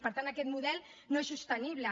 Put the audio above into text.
per tant aquest model no és sostenible